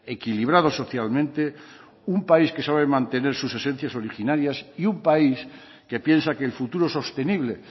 equilibrado socialmente un país que sabe mantener sus esencias originarias y un país que piensa que el futuro sostenible